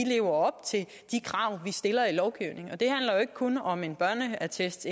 krav vi stiller i lovgivningen og det handler jo ikke kun om en børneattest